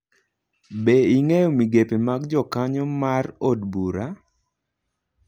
Be ing'eyo migepe mag jakanyo mar od bura?